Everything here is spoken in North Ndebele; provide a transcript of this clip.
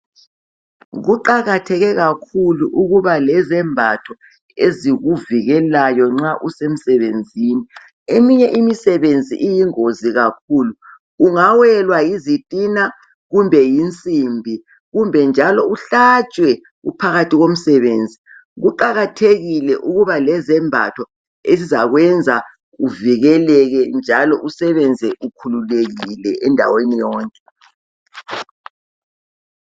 Kuqakatheke kakhulu ukuba lezambatho ezikuvikelayo nxa usemsebenzi eminye imisebenzi iyingozi kakhulu ungawelwa yizitina kumbe yinsimbi kumbe njalo uhlatshwe uphakathi komsebenzi. Kuqakathekile ukuba lezembatho ezizakwenza uvikeleke njalo usebenze ukhululekile endaweni yonke.